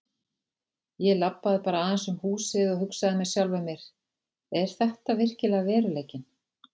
Ég labbaði bara aðeins um húsið og hugsaði með sjálfum mér: Er þetta virkilega veruleikinn?